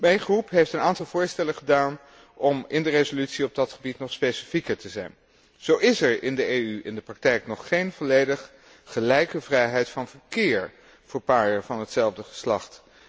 Mijn fractie heeft een aantal voorstellen gedaan om in de resolutie op dat gebied nog specifieker te zijn. Zo is er in de EU in de praktijk nog geen volledig gelijke vrijheid van verkeer voor paren van hetzelfde geslacht.